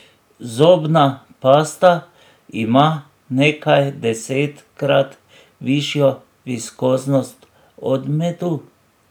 Zobna pasta ima nekajdesetkrat višjo viskoznost od medu.